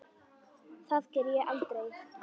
Það geri ég aldrei